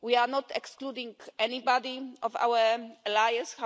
We are not excluding anybody from our alliance